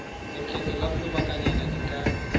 lekgetho la lobakanyana di ka